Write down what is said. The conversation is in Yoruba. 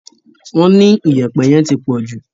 Wọ́n ní Iyẹ̀pẹ̀ yẹn tí pọ̀jù